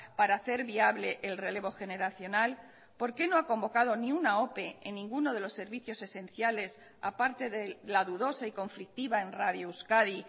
para hacer viable el relevo generacional por qué no ha convocado ni una ope en ninguno de los servicios esenciales a parte de la dudosa y conflictiva en radio euskadi